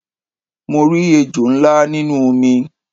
Mo rí ejò ńlá nínú omi